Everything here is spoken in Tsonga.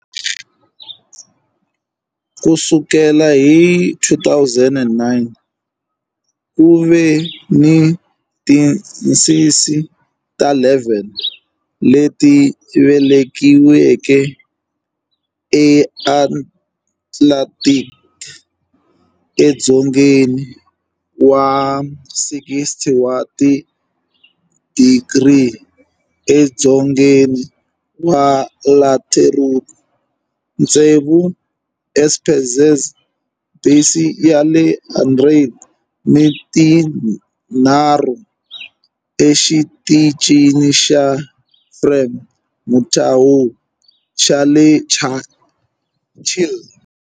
Ku sukela hi 2009, ku ve ni tincece ta 11 leti velekiweke eAtlantic, edzongeni wa 60 wa tidigri edzongeni wa latitude, tsevu eEsperanza Base ya le Argentina ni tinharhu eXitichini xa Frei Montalva xa le Chile.